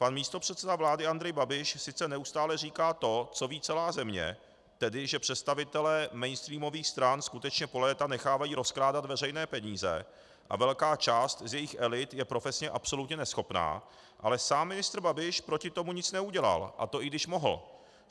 Pan místopředseda vlády Andrej Babiš sice neustále říká to, co ví celá země, tedy že představitelé mainstreamových stran skutečně po léta nechávají rozkrádat veřejné peníze a velká část z jejich elit je profesně absolutně neschopná, ale sám ministr Babiš proti tomu nic neudělal, a to i když mohl.